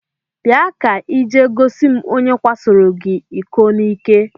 Bịa ka ị jee gosi m onye kwasoro gị iko n'ike!